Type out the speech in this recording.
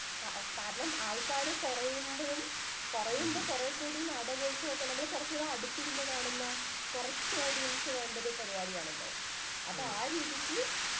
കാരണം ആള്ക്കാര് കൊറയുമ്പോഴും കൊറയുമ്പോ കൊറേ കൂടി നാടകോത്സവും ഒക്കെ നമ്മള് കൊറച്ചു കൂടി അടുത്തിരുന്നു കാണുന്ന കൊറച്ചു audience വേണ്ട ഒരു പരിപാടി ആണല്ലോ